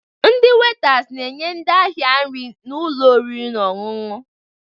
Ndị wetas na-enye ndị ahịa nri n'ụlọ oriri na ọṅụṅụ